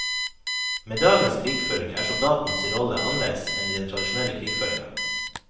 Med dagens krigføring er soldaten si rolle annleis enn i den tradisjonelle krigføringa.